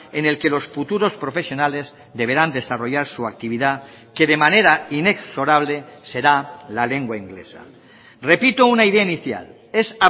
en el que los futuros profesionales deberán desarrollar su actividad que de manera inexorable será la lengua inglesa repito una idea inicial es